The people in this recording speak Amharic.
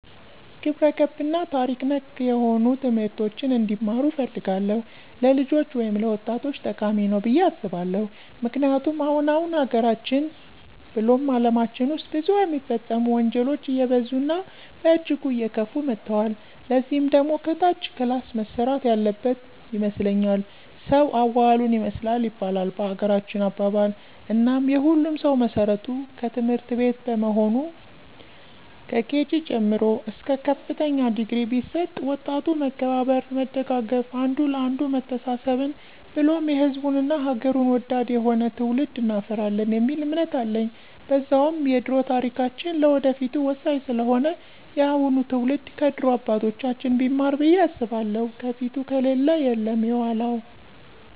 ግብረገብ እና ታሪክ ነክ ነሆኑ ትምህርቶችን እንዲማሩ እፈልጋለሁ። ለልጆች ወይም ለወጣቶቸ ጠቃሚ ነዉ ብየ አስባለሁ። ምክንያቱም አሁን አሁን ሀገራችን ብሉም አለማችን ዉስጥ ብዙ የሚፈጸሙ ወንጀሎች አየበዙ እና በእጅጉ አየከፉ መተወል። ለዚህ ደግሞ ከታች ክላስ መሰራት ያለበን ይመስለኛል። ሰዉ አዋዋሉን ይመስላል ይባላል በሀገራችን አባባል፦ እናም የሁሉም ሰዉ መሰረቱ ትምህርትቤት በመሆኑ ከኬጅ ጀምሮ እስከ ከፍተኛ ድግሪ ቢሰጥ ወጣቱ መከባበር፣ መደጋገፍ፣ አንዱ ለአንዱ መተሳሰብን ብሉም ሕዝቡን እና ሐገሩን ወዳድ የሆነ ትዉልድ እናፈራለን የሚል እምነት አለኝ። በዛዉም የደሮ ታሪካችን ለወደፊቱ ወሳኝ ስለሆነ የአሁኑ ትዉልድ ከድሮ አባቶቻችን ቢማር ብየ አስባለሁ የፊቱ ከሌለ የለም የዃላዉ።